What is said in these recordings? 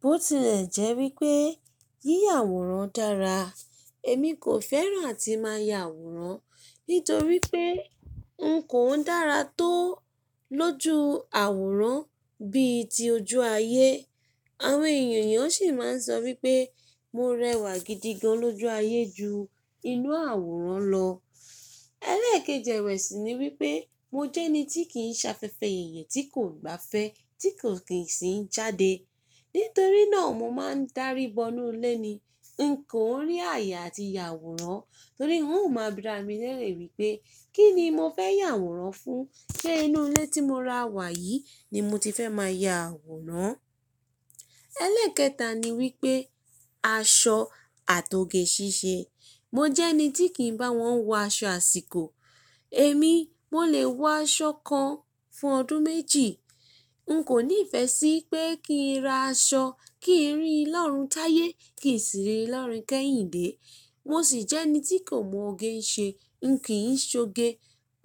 Bó ti lè jẹ́ wípé yí yàwòrán dára. Èmi kò fẹ́ràn àti máa ya àwòrán, nítorí pé n kò ń dára tó lójú àwòrán bí i ti ojú ayé. Àwọn èèyàn sì máa ń sọ wípé mo rẹwà gidi gan lojú ayé ju inú àwòrán lọ. Ẹlẹ́ẹ̀keji e si ni wípé mo jẹ́ ẹni tí kì ń se afẹfẹ́ yeye tí kò gbáfẹ́ tí kò kì í sì ń jáde. Nítorí náà mo máa ń darí bọ inú ilé ni. N kò ń rí àye àti yàwòrán torí ń ò máa bira mi lérè wípé kí ni mo fẹ́ yàwòrán fún, sé inú ilé tí mo ra wà yìí ni mo ti fẹ́ máa ya àwòrán. Ẹlẹ́ẹ̀kẹta ni wípé aṣọ àto ge ṣíṣe. Mo jẹ́ ẹni tí kì ń bá wọn wo aṣọ àsìkò. Èmi mo lè wọ aṣọ kan fún ọdún méjì. N kò ní ìfẹ́ sí pé kí n ra aṣọ kí í rí lórun táyé kì í sì rí lórin kẹ́yìn dé. Mo sì jẹ́ ẹni tí kò mọ oge ń ṣe. N kì í ṣọ ge.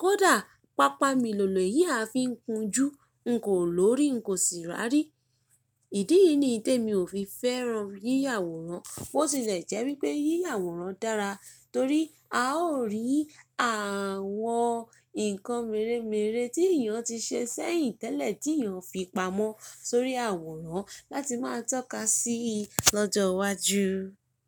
Kódà pápá mi lòlò, ìyẹ́ a fi ń kun jú, n kò lórí n kò sì rárí. Ìdí yìí ni ìté mi ò fi fẹ́ràn yí yàwòrán. Bó ti lè jẹ́ wípé yí yàwòrán dára torí a ó rí àwọn nǹkan mèremère tí èèyàn ti ṣe sẹ́yìn tẹ́lẹ̀ tí èèyàn fi pamọ́ sórí àwòrán láti máa tọ́ka sí i lọ́jọ́ iwájú.